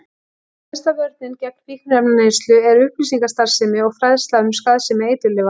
Ein helsta vörnin gegn fíkniefnaneyslu er upplýsingastarfsemi og fræðsla um skaðsemi eiturlyfja.